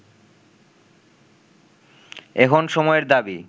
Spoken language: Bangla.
এখন সময়ের দাবি